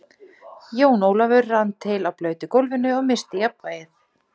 Jón Ólafur rann til á blautu gólfinu og missti jafnvlgið.